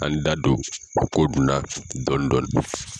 An da don ko dun na dɔɔnin dɔɔnin.